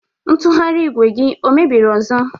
Ntụgharị igwe gi o mebiri ọzó?